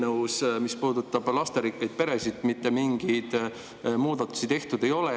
Sest mis puudutab lasterikkaid peresid, siis selles eelnõus mitte mingeid muudatusi tehtud ei ole.